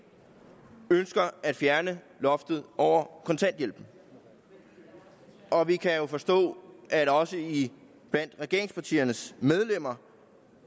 nu ønsker at fjerne loftet over kontanthjælpen og vi kan forstå at der også blandt regeringspartiernes medlemmer